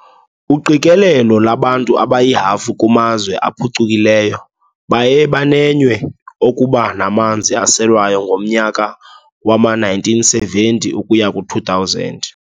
Uqikelelo lwabantu abayihafu kumazwe aphucukileyo baye banenywe okuba namanzi aselwayo ngomnyaka wama-1970-2000.